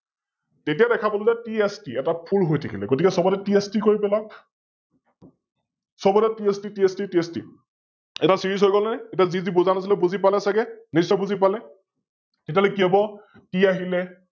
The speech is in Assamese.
এতিয়া দেখা পালো যে TST এটা Full হৈ থাকিলে গতিকে সৱতে TST কৰি পেলাওক, সৱতে TSTTSTTST এটা Series হৈ গল নে? এতিয়া যি যি বুজা নাছিলে বুজি পালে ছাগে? নিস্বয় বুজি পালে? তেতিয়াহলে কি হব? T আহিলে